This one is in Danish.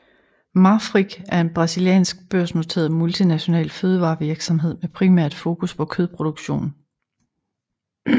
Marfrig er en brasiliansk børsnoteret multinational fødevarevirksomhed med primært fokus på kødproduktion